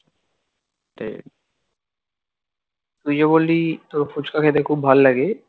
তুই যে বললি তোর ফুচকা খেতে খুব ভাল লাগে!